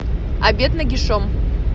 обед нагишом